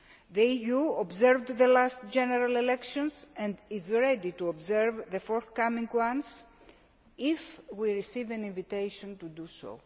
The EU observed the last general election, and is ready to observe the forthcoming one if we receive an invitation to do so.